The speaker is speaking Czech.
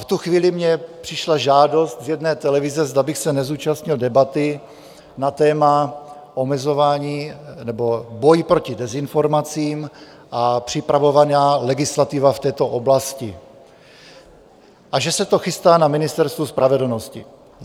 V tu chvíli mně přišla žádost z jedné televize, zda bych se nezúčastnil debaty na téma omezování nebo boj proti dezinformacím a připravovaná legislativa v této oblasti a že se to chystá na Ministerstvu spravedlnosti.